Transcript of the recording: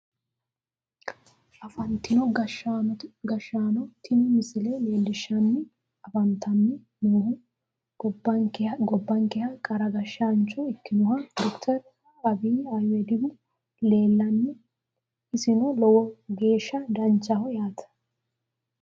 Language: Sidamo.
Afantino gashshaano tini misile leellishshanni afantanni noohu gobbankeha qara gashshaancho ikkinohu doctor abiy ahimedihu leella isino lowo geeshsha danchaho yaate